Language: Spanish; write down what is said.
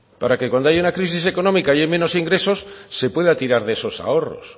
para que cuando haya una crisis económica y hay menos ingresos se pueda tirar de esos ahorros